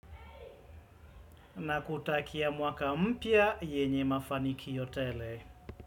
Na kutakia mwaka mpya yenye mafanikio tele.